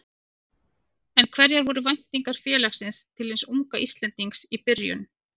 En hverjar voru væntingar félagsins til hins unga Íslendings í byrjun?